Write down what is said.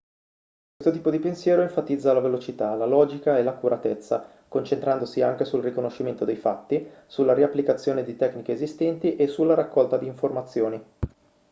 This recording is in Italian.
questo tipo di pensiero enfatizza la velocità la logica e l'accuratezza concentrandosi anche sul riconoscimento dei fatti sulla riapplicazione di tecniche esistenti e sulla raccolta di informazioni